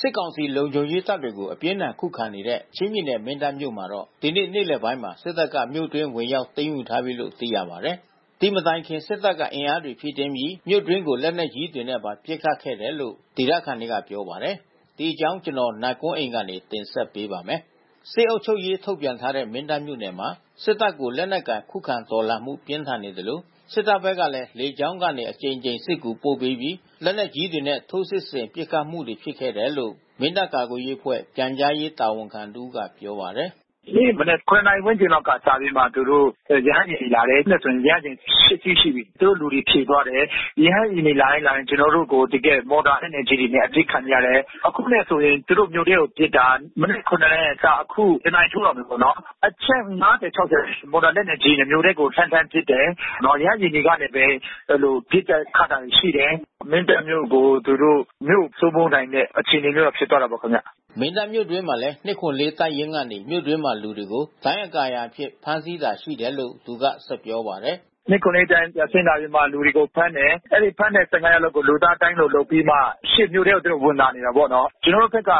စစ်ကောင်စီ လုံခြုံရေးတပ်တွေကို အပြင်းအထန် ခုခံနေတဲ့ ချင်းပြည်နယ် မင်းတပ်မြို့မှာတော့ ဒီနေ့ နေ့လယ်ပိုင်းမှာ စစ်တပ်က မြို့တွင်းဝင်ရောက်သိမ်းယူထားပြီလို့ သိရပါတယ်။ ဒီမတိုင်ခင်မှာ စစ်တပ်က အင်အားတွေဖြည့်တင်းပြီး မြို့တွင်းကို လက်နက်ကြီးတွေနဲ့ပါ ပစ်ခတ်ခဲ့တယ်လို့ ဒေသခံတွေက ပြောပါတယ်။ အပြည့်အစုံကို နိုင်ကွန်းအိန် တင်ပြပေးထားပါတယ်။ စစ်အုပ်ချုပ်ရေး ထုတ်ပြန်ထားတဲ့ မင်းတပ်မြို့နယ်မှာ စစ်တပ်ကို လက်နက်ကိုင်ခုခံတော်လှန်မှု ပြင်းထန်နေသလို စစ်တပ်ဘက်ကလည်း လေကြောင်းကနေ အကြိမ်ကြိမ် စစ်ကူပို့ပေးပြီး လက်နက်ကြီးတွေနဲ့ ထိုးစစ်ဆင်ပစ်ခတ်မှုတွေ ဖြစ်ခဲ့တယ်လို့ မင်းတပ်ကာကွယ်ရေးအဖွဲ့ ပြန်ကြားရေးတာဝန်ခံတဦးက ပြောပါတယ်။ “ဒီနေ့မနက် ၇ နာရီဝန်းကျင်လောက်ကစပြီး သူတို့ ရဟတ်ယာဉ်တွေ လာတယ်။ အခုနဲ့ဆို ရဟတ်ယာဉ် ၈ စီးရှိပြီ။ သူတို့လူတွေဖြည့်သွားတယ်။ ရဟတ်ယာဉ်တွေ လာတိုင်းလာတိုင်း ကျနော်တို့ကို တကယ့် မော်တာလက်နက်ကြီးတွေနဲ့ အပစ်ခံနေရတယ်။ အခုနဲ့ဆိုရင် သူတို့ မြို့ထဲကိုပစ်တာ မနက် ၇ နာရီကစ အခု ၁ နာရီထိုးတော့မယ်ပေါ့နော်။ အချက် ၅၀၊ ၆၀ ရှိမယ်။ မော်တာလက်နက်ကြီးနဲ့ မြို့ထဲကို လှမ်းလှမ်းပစ်တယ်။ ရဟတ်ယာဉ်ကနေပဲ ပစ်တာခတ်တာတွေ ရှိတယ်။ မင်းတပ်မြို့ကို သူတို့ မြို့စိုးမိုးနိုင်တဲ့ အခြေအနေမျိုးတော့ ဖြစ်သွားတာပေါ့ခင်ဗျ။” မင်းတပ်မြို့တွင်းမှာလည်း ၂၇၄ တပ်ရင်းကနေ မြို့တွင်းမှာ လူတွေကို ဒိုင်းအကာအရံအဖြစ် ဖမ်းဆီးတာရှိတယ်လို့ သူကပြောပါတယ်။ “၂၇၄ တပ်ရင်း ပြန်ဆင်းလာပြီးမှ လူတွေကိုဖမ်းတယ်။ အဲဒီ ဖမ်းတဲ့ ၁၅ ယောက်လုံးကို လူသားဒိုင်းလိုလုပ်ပြီးမှ ရှေ့မြို့ထဲကို သူတို့ဝင်လာနေတာပေါ့နော်။ ကျနော်တို့ဘက်က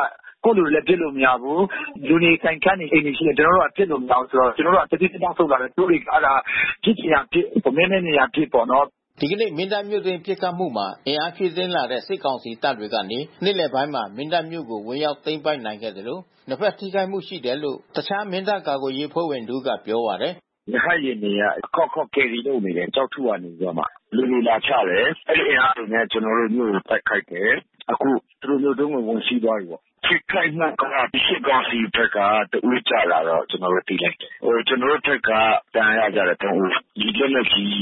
ကိုယ့်လူတွေကို ပစ်လို့မရဘူး။ လူတွေ ဆိုင်ခန်းတွေ အိမ်တွေရှိနေလို့ ကျနော်က ပစ်လို့မရဘူး။ ဆိုတော့ ကျနော်တို့က တဖြည်းဖြည်း နောက်ဆုတ်လာတယ်။ သူတို့တွေက ပစ်ချင်ရာပစ် မည်းမည်းမြင်ရာပစ်ပေါ့နော်။” ဒီကနေ့ မင်းတပ်မြို့တွင်း ပစ်ခတ်မှုမှာ အင်အားဖြည့်တင်းလာတဲ့ စစ်ကောင်စီတပ်ကနေ နေ့လယ်ပိုင်းမှာ မင်းတပ်မြို့ကို ဝင်ရောက်သိမ်းပိုက်နိုင်ခဲ့သလို နှစ်ဖက်ထိခိုက်မှု ရှိတယ်လို့ တခြား မင်းတပ်ကာကွယ်ရေးအဖွဲ့ဝင်တဦးက ပြောပါတယ်။ “ရဟတ်ယာဉ်တွေက အခေါက်ခေါက် ကယ်ရီပို့နေတယ်၊ ကျောက်ထုကနေပြီးတော့မှ။ လူတွေလာချတယ်။ အဲဒီ အင်အားတွေနဲ့ ကျနော်တို့မြို့ကို တိုက်ခိုက်တယ်။ အခု သူတို့ မြို့တွင်းကို ဝင်စီးသွားပြီပေါ့။ ထိခိုက်မှုက စစ်ကောင်စီဘက်က တဦးကျတာတော့ ကျနော်တို့သိရတယ်။ ကျနော်တို့ဘက်က ဒဏ်ရာရကြတယ် ၃ ဦး။ လက်နက်ကြီး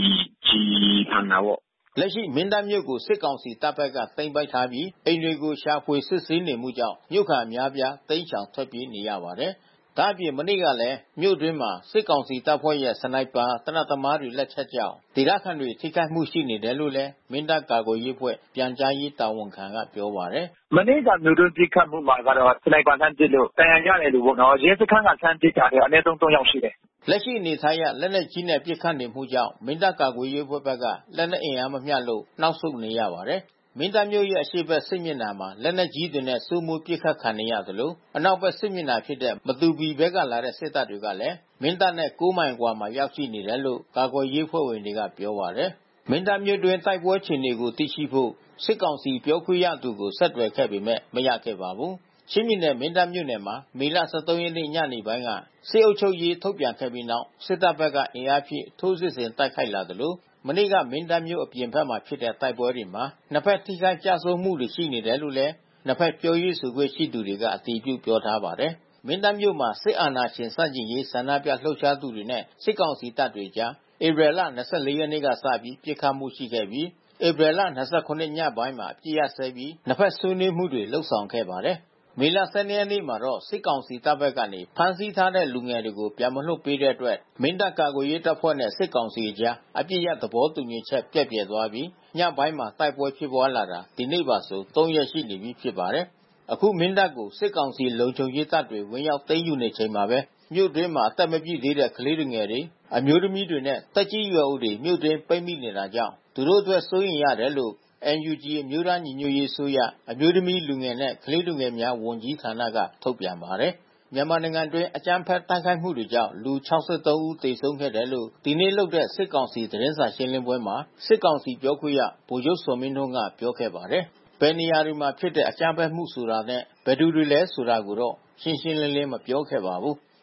ကျည် မှန်တာပေါ့။” လက်ရှိ မင်းတပ်မြို့ကို စစ်ကောင်စီတပ်ဘက်က သိမ်းပိုက်ထားပြီး အိမ်တွေကို ရှာဖွေစစ်ဆေးနေမှုကြောင့် မြို့ခံအများအပြား တိမ်းရှောင်ထွက်ပြေးနေရပါတယ်။ ဒါ့အပြင် မနေ့ကလည်း မြို့အတွင်း စစ်ကောင်စီတပ်ဖွဲ့ရဲ့ စနိုက်ပါ သေနတ်သမား လက်ချက်ကြောင့် ဒေသခံတွေ ထိခိုက်မှုရှိနေတယ်လို့ မင်းတပ်ကာကွယ်ရေးအဖွဲ့ ပြန်ကြားရေးတာဝန်ခံတဦးက ပြောပါတယ်။ “မနေ့ မြို့တွင်းပစ်ခတ်မှုမှာကတော့ စနိုက်ပါလှမ်းပစ်လို့ ဒဏ်ရာရတဲ့သူပေါ့နော်။ ရဲစခန်းက လှမ်းပစ်လို့ ဒဏ်ရာရတဲ့သူ ၃ ယောက်ရှိတယ်။” လက်ရှိအနေအထားအရ လက်နက်ကြီးနဲ့ ပစ်ခတ်နေမှုကြောင့် မင်းတပ်ကာကွယ်ရေးအဖွဲ့ဘက်က လက်နက်အင်အားမမျှလို့ နောက်ဆုတ်နေရပါတယ်။ မင်းတပ်မြို့ရဲ့ အရှေ့ဘက်စစ်မျက်နှာမှာ လက်နက်ကြီးတွေနဲ့ စိုးမိုးပစ်ခတ်ခံနေရသလို အနောက်ဘက်စစ်မျက်နှာဖြစ်တဲ့ မတူပီဘက်ကလာတဲ့ စစ်တပ်တွေကလည်း မင်းတပ်နဲ့ ၉ မိုင်အကွာမှာ ရောက်ရှိနေတယ်လို့ ကာကွယ်ရေးတပ်ဖွဲ့ဝင်တွေက ပြောပါတယ်။ မင်းတပ်မြို့တွင်း တိုက်ပွဲအခြေအနေကို သိရှိဖို့ စစ်ကောင်စီပြောခွင့်ရသူကို ဆက်သွယ်ခဲ့ပေမယ့် မရခဲ့ပါဘူး။ ချင်းပြည်နယ် မင်းတပ်မြို့နယ်မှာ မေလ ၁၃ ရက်နေ့ ညပိုင်းမှာ စစ်အုပ်ချုပ်ရေး ထုတ်ပြန်ခဲ့ပြီးနောက် စစ်တပ်ဘက်က အင်အားဖြည့် ထိုးစစ်ဆင် တိုက်ခိုက်လာသလို မနေ့က မင်းတပ်မြို့အပြင်ဘက်မှာဖြစ်တဲ့ တိုက်ပွဲတွေမှာ နှစ်ဖက်ထိခိုက်ကျဆုံးမှုတွေ ရှိနေတယ်လို့လည်း နှစ်ဖက် ပြောရေးဆိုခွင့်ရှိသူတွေက အတည်ပြု ပြောထားပါတယ်။ မင်းတပ်မြို့မှာ စစ်အာဏာရှင်ဆန့်ကျင်ရေး ဆန္ဒပြလှုပ်ရှားသူတွေနဲ့ စစ်ကောင်စီတပ်တွေအကြား ဧပြီလ ၂၄ ရက်နေ့ကစပြီး ပစ်ခတ်မှုရှိခဲ့ပြီး ဧပြီလ ၂၇ ရက် ညပိုင်းမှာ အပစ်ရပ်စဲပြီး နှစ်ဖက်ဆွေးနွေးမှုတွေ လုပ်ဆောင်ခဲ့ပါတယ်။ မေလ ၁၂ ရက်နေ့မှာတော့ စစ်ကောင်စီတပ်ဘက်ကနေ ဖမ်းဆီးထားတဲ့ လူငယ်တွေကို ပြန်မလွှတ်ပေးတဲ့အတွက် မင်းတပ်ကာကွယ်ရေးတပ်ဖွဲ့နဲ့ စစ်ကောင်စီ်အကြား အပစ်ရပ်သဘောတူညီချက် ပျက်ပြယ်သွားပြီး ညပိုင်းမှာ တိုက်ပွဲဖြစ်ပွါးလာတာ ဒီနေ့ပါဆို ၃ ရက်ရှိနေပြီ ဖြစ်ပါတယ်။ အခု မင်းတပ်ကို စစ်ကောင်စီ လုံခြုံရေးတပ်တွေ ဝင်ရောက်သိမ်းယူချိန်မှာပဲ မြို့တွင်းမှာ အသက်မပြည့်သေးတဲ့ ကလေးငယ်တွေ အမျိုးသမီးတွေနဲ့ သက်ကြီးရွယ်အိုတွေ မြို့တွင်းပိတ်မိနေတာကြောင့် သူတို့အတွက် စိုးရိမ်တယ်လို့ NUG အမျိုးသားညီညွတ်ရေးအစိုးရ အမျိုးသမီး၊ လူငယ်နဲ့ ကလေးသူငယ်များ ဝန်ကြီးဌာနက ထုတ်ပြန်ပါတယ်။ မြန်မာနိုင်ငံတွင်း အကြမ်းဖက် တိုက်ခိုက်မှုတွေကြောင့် လူ ၆၃ ဦး သေဆုံးခဲ့တယ်လို့ ဒီနေ့လုပ်တဲ့ စစ်ကောင်စီ သတင်းစာရှင်းလင်းပွဲမှာ စစ်ကောင်စီပြောခွင့်ရ ဗိုလ်ချုပ်ဇော်မင်းထွန်းက ပြောခဲ့ပါတယ်။ ဘယ်နေရာတွေမှာဖြစ်တဲ့ အကြမ်းဖက်မှုတွေ ဆိုတာနဲ့ ဘယ်သူတွေလဲ ဆိုတာကိုတော့ ရှင်းရှင်းလင်းလင်း မပြောခဲ့ပါဘူး။